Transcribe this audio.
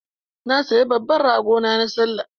Na saya babban rago na Sallah.